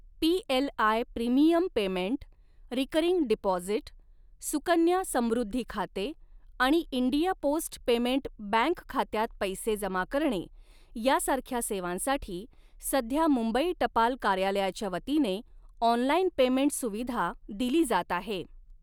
PLI premium payment, recurring deposit, Sukanya Samriddhi खाते आणि India post payment bank खात्यात पैसे जमा करणे यासारख्या सेवांसाठी सध्या मुंबई टपाल कार्यालयाच्या वतीने ऑनलाईन पेमेंट सुविधा दिली जात आहे.